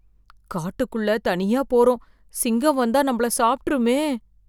காட்டுக்குள் தனியா போறோம், சிங்கம் வந்தா நம்மள சாப்ட்ருமே.